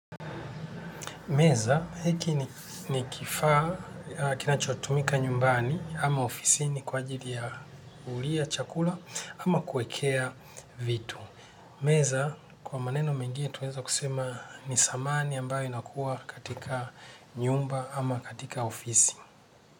Meza, hiki ni kifaa, kinachotumika nyumbani, ama ofisini kwa ajili ya kulia chakula, ama kuekea vitu. Meza, kwa maneno mengine tuweza kusema ni samani ambayo inakua katika nyumba, ama katika ofisi.